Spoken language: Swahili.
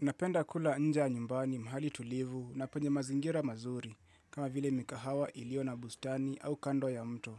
Napenda kula nje ya nyumbani mahali tulivu na penye mazingira mazuri kama vile mikahawa iliyo na bustani au kando ya mto.